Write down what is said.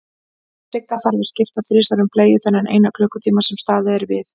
Og Sigga þarf að skipta þrisvar um bleiu þennan eina klukkutíma sem staðið er við.